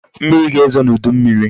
Mmiri ga-ezo n'udu mmiri